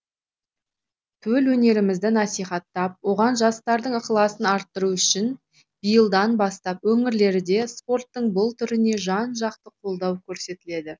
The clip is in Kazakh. төл өнерімізді насихаттап оған жастардың ықыласын арттыру үшін биылдан бастап өңірлерде спорттың бұл түріне жан жақты қолдау көрсетіледі